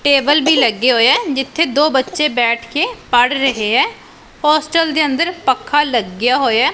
Table ਵੀ ਲੱਗੇ ਹੋਏਆ ਜਿੱਥੇ ਦੋ ਬੱਚੇ ਬੈਠ ਕੇ ਪੜ੍ਹ ਰਹੇ ਹੈਂ ਹੋਸਟਲ ਦੇ ਅੰਦਰ ਪੱਖਾ ਲੱਗਾ ਹੋਇਆ ਹੈ।